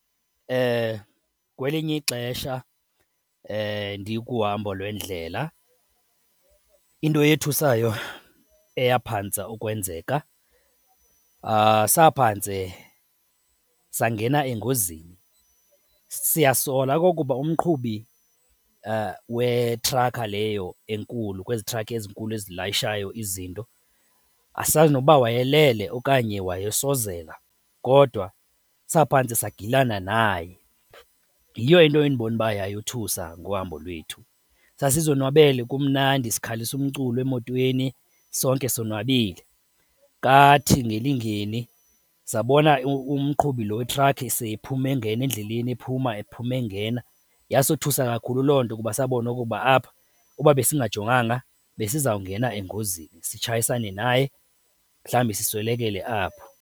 Kwelinye ixesha ndikuhambo lwendlela, into eyothusayo eyaphantse ukwenzeka saphantse sangena engozini. Siyasola ukuba umqhubi wetrakha leyo enkulu kwezi trakhi ezinkulu ezilayishayo izinto, asazi noba wayelele okanye wayesozela, kodwa saphantse sagilana naye. Yiyo into endibona uba yayothusa ngohamba lwethu. Sasizonwabele kumnandi sikhalisa umculo emotweni, sonke sonwabile kathi ngelingeni sabona umqhubi lo wetrakhi seyiphuma engena endleleni ephuma ephuma engena. Yasothusa kakhulu loo nto kuba sabona okokuba apha uba besingajonganga besizawungena engozini sitshayisane naye, mhlawumbi siswelekele apho.